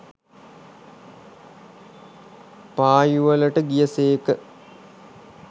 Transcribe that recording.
පා යුවලට ගිය සේක.